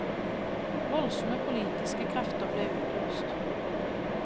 Voldsomme, politiske krefter ble utløst.